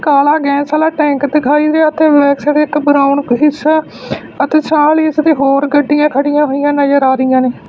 ਕਾਲਾ ਗੈਸ ਆਲਾ ਟੈਂਕ ਦਿਖਾਈ ਦੇਆ ਤੇ ਮੈਕ੍ਸ ਦੇ ਇੱਕ ਬਰਾਊਨ ਹਿੱਸਾ ਅਤੇ ਛਾਹ ਆਲੀ ਇਸਦੀ ਹੋਰ ਗੱਡੀਆਂ ਖੜ੍ਹੀਆਂ ਹੋਈਆਂ ਨਜ਼ਰ ਆ ਰਾਹੀਆਂ ਨੇ।